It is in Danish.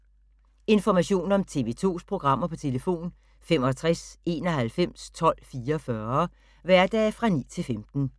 Information om TV 2's programmer: 65 91 12 44, hverdage 9-15.